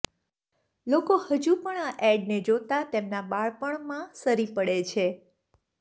લોકો હજુ પણ આ એડને જોતા તેમના બાળપણમાં સરી પડે છે